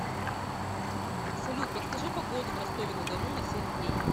салют подскажи погоду в ростове на дону на семь дней